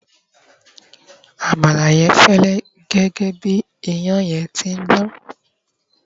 àmàlà yen fẹlẹ gẹgẹ bi iyan yen ti n Dan